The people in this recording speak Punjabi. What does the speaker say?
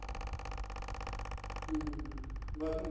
ਹਮ ਬੱਸ